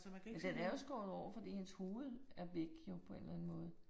Men den er jo skåret over fordi hendes hoved er væk jo på en eller anden måde